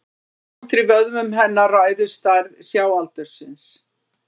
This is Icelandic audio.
Samdráttur í vöðvum hennar ræður stærð sjáaldursins.